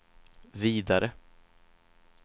vidare